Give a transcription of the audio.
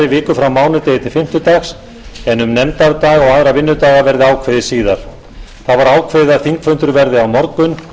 viku frá mánudegi til fimmtudags en um nefndadaga og aðra vinnudaga verði ákveðið síðar þá var ákveðið að þingfundur verði á morgun